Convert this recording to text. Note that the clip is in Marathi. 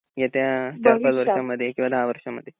येत्या चार पांचवर्षामध्ये किंवा दहा वर्षामध्ये